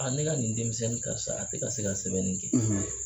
ne ka nin denmisɛnnin karisa a tɛ ka se ka sɛbɛnni kɛ.